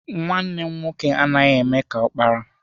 Nwanne m nwoke anaghị eme ka ọkpara.